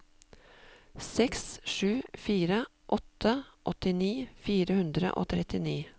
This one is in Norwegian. seks sju fire åtte åttini fire hundre og trettini